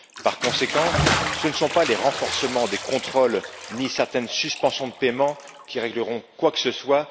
Par conséquent, ce ne sont pas les renforcements des contrôles ni certaines suspensions de paiement qui régleront quoi que ce soit.